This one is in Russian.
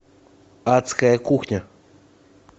адская кухня